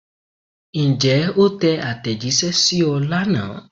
Ǹjẹ́ o tẹ àtẹ̀jíṣẹ́ sí ọ lánàá?